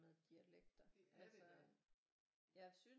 Med dialekter altså jeg synes